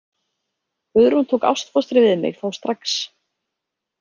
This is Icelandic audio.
Guðrún tók ástfóstri við mig þá strax.